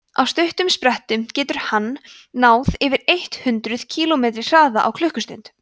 á stuttum sprettum getur hann náð yfir eitt hundruð kílómetri hraða á klukkustund